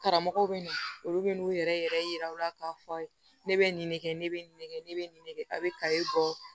Karamɔgɔw bɛ na olu bɛ n'u yɛrɛ yɛrɛ yira u la k'a fɔ aw ye ne bɛ nin de kɛ ne bɛ nin de kɛ ne bɛ nin de kɛ a bɛ kayi bɔ